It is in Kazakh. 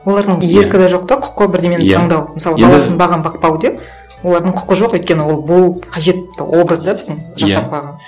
олардың еркі де жоқ та құқы бірдеңені таңдау мысалы баласын бағамын бақпау деп олардың құқы жоқ өйткені ол болып қажет образ да біздің жасап қойған